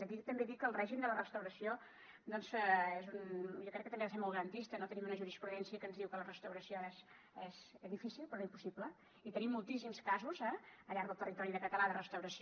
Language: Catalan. aquí també dir que el règim de la restauració jo crec que també ha de ser molt garantista no tenim una jurisprudència que ens diu que la restauració és difícil però no impossible i tenim moltíssims casos eh al llarg del territori català de restauració